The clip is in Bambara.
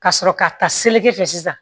Ka sɔrɔ ka ta seleke fɛ sisan